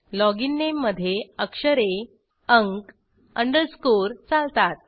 login नामे मध्ये अक्षरे अंक अंडरस्कोर चालतात